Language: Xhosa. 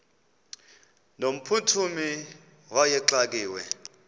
no mphuthumi wayexakiwe